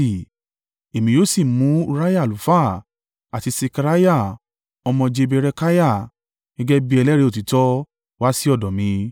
Èmi yóò sì mú Uriah àlùfáà àti Sekariah ọmọ Jeberekiah gẹ́gẹ́ bí ẹlẹ́rìí òtítọ́ wá sí ọ̀dọ̀ mi.